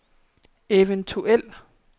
eventuel